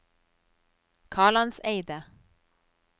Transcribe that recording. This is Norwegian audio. Kalandseidet